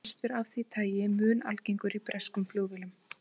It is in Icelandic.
Kostur af því tagi mun algengur í breskum flugvélum.